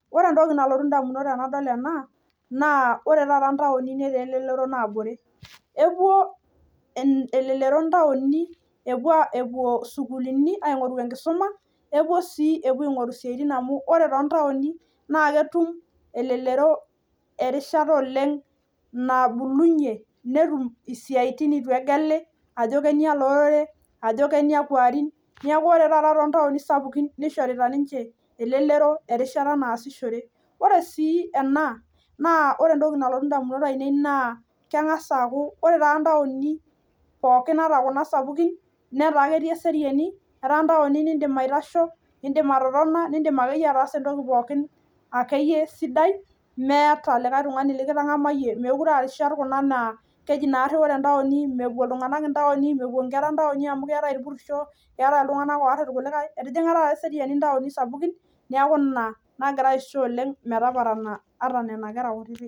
Ore entoki nalotui indamunot tenadol ena naa ore taata intaoni netaa elelero naabore epuo en elelero intaoni epuo epuo isukulini aing'oru enkisuma epuo sii epuo aing'oru isiaitin amu ore tontaoni naa ketum elelero erishata oleng nabulunyie netum isiaitin itu egeli ajo kenialo orere ajo keniakua arin niaku ore taata tontaoni sapukin nishorita ninche elelero erishata naasishore ore sii ena naa ore entoki nalotu indamunot ainei naa keng'as aaku ore taa intaoni pookin ata kuna sapukin netaa ketii eseriani etaa intaoni nindim aitasho indim atotona nindim akeyie ataasa entoki pookin akeyie sidai meeta olikae tung'ani likitang'amayie mekure arishat kuna naa keji naarri ore intaoni mepuo iltung'anak intaoni mepuo inkera intaoni amu keetae irpurisho keetae iltung'anak oarr irkulikae etijing'a taata eseriani intaoni sapukin niaku ina nagira aisho oleng metaparana ata nena kera kutitik.